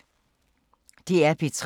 DR P3